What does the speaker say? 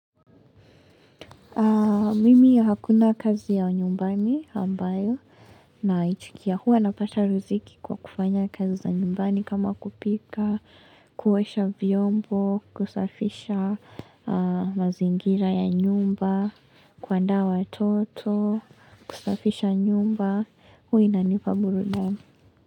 Mimi ya hakuna kazi ya nyumbani ambayo naitikia. Huwa napata riziki kwa kufanya kazi za nyumbani kama kupika, kuosha vyombo, kusafisha mazingira ya nyumba, kuandaa watoto, kusafisha nyumba, huwa inanipa burudani.